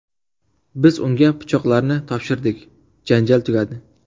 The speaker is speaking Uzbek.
Biz unga pichoqlarni topshirdik, janjal tugadi.